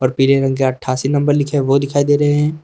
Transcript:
और पीले रंग के अठ्ठासी नंबर लिखे हैं वो दिखाई दे रहे हैं।